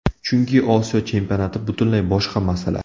Chunki Osiyo Chempionati butunlay boshqa masala.